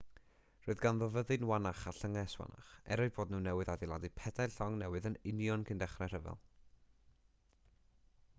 roedd ganddo fyddin wannach a llynges wannach er eu bod nhw newydd adeiladu pedair llong newydd yn union cyn dechrau'r rhyfel